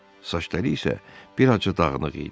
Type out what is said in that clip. Saçları isə bir azca dağınıq idi.